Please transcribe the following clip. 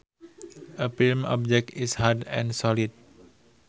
A firm object is hard and solid